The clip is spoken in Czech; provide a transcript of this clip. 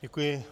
Děkuji.